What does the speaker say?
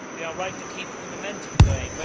We are right to keep the momentum going.